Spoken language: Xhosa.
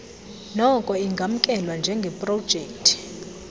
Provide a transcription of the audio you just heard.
noko ingamkelwa njengeprojekthi